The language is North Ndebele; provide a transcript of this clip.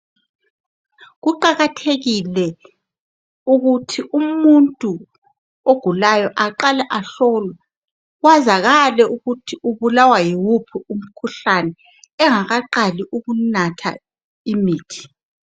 Kuqakathekile ukuthi umuntu ogulayo aqale ahlolwe kwazakale ukuthi ubulawa yiwuphi umkhuhlane engakaqali ukunatha imithi